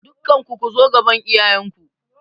Dukkanku ku zo gaban iyayen ku!